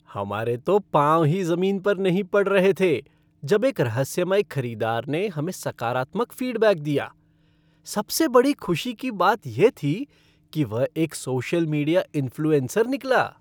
हमारे तो पाँव ही ज़मीन पर नहीं पड़ रहे थे जब एक रहस्यमय खरीदार ने हमें सकारात्मक फ़ीडबैक दिया। सबसे बड़ी खुशी की बात यह थी कि वह एक सोशल मीडिया इन्फ़्लुएंसर निकला।